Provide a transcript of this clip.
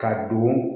Ka don